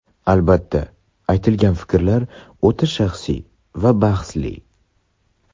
Albatta, aytilgan fikrlar o‘ta shaxsiy va bahsli.